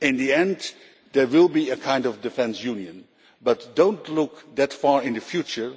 In the end, there will be a kind of defence union, but do not look that far into the future.